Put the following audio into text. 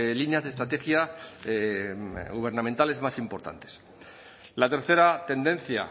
líneas de estrategia gubernamentales más importantes la tercera tendencia